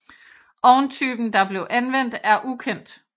Ovntypen der blev anvendt er ukendt